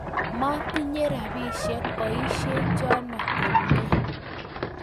Motinye robisshe boisiek chuno komie.